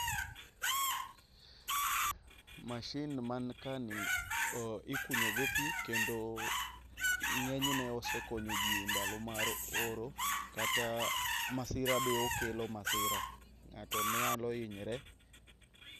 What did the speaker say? Mashin man kani ikunyo go pi kendo ng'eny ne osekoyoji endalo mar oro kata masira be okelo masira. Ng'ato be nyalo hinyre.